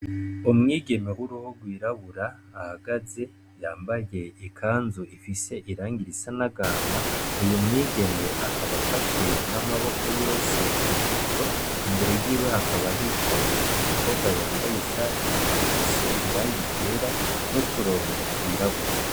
Umwigeme w'uruhu rwirabura ahagaze yambaye ikanzu ifise irangi isa n'agahama, uyu mwigeme akaba afashe n'amaboko yose imikoro, imbere yiwe hakaba hicaye umukobwa yambaye ishati ifise irangi ryera n'uturongo twirabura.